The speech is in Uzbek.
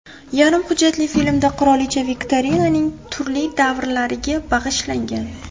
Yarim hujjatli filmda qirolicha Viktoriyaning turli davrlariga bag‘ishlangan.